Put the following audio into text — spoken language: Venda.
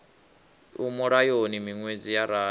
i mulayoni miṅwedzi ya rathi